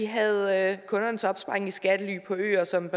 havde havde kundernes opsparing i skattely på øer som